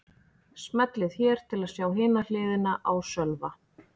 Smellið hér til að sjá hina hliðina á Sölva